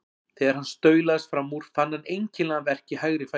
Þegar hann staulaðist fram úr fann hann einkennilegan verk í hægri fætinum.